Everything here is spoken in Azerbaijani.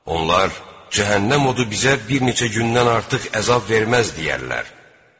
Onlar cəhənnəm odu sizə bir neçə gündən artıq əzab verməz deyərlər.